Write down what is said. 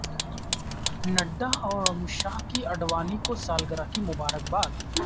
نڈا اور امیت شاہ کی اڈوانی کو سالگرہ کی مبارکباد